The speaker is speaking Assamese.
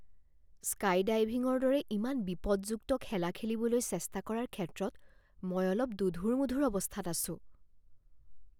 স্কাইডাইভিঙৰ দৰে ইমান বিপদযুক্ত খেলা খেলিবলৈ চেষ্টা কৰাৰ ক্ষেত্ৰত মই অলপ দোধোৰ মোধোৰ অৱস্থাত আছোঁ।